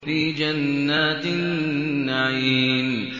فِي جَنَّاتِ النَّعِيمِ